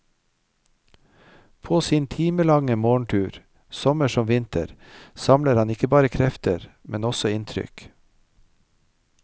På sin timelange morgentur, sommer som vinter, samler han ikke bare krefter, men også inntrykk.